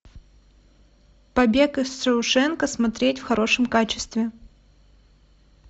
побег из шоушенка смотреть в хорошем качестве